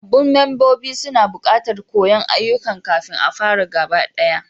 Sabbin mambobin suna buƙatar koyan ayyukan kafin a fara gabaɗaya.